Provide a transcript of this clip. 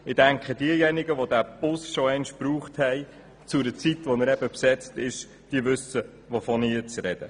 Ich denke, diejenigen, welche diesen Bus schon zu einer Zeit benutzt haben, da er stark besetzt ist, wissen, wovon ich spreche.